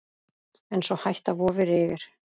En sú hætta vofir yfir.